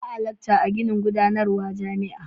Ba a lakca a ginin gudanarwa jami'a.